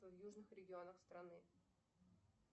в южных регионах страны